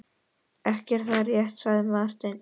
Ekki er það rétt, sagði Marteinn.